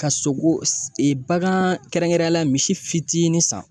Ka sogo bagan kɛrɛnkɛrɛnnenyala misi fitinin san